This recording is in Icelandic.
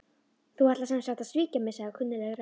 Þú ætlar sem sagt að svíkja mig sagði kunnugleg rödd.